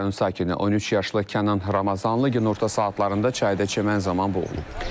Rayon sakini 13 yaşlı Kənan Ramazanlı günorta saatlarında çayda çimən zaman boğulub.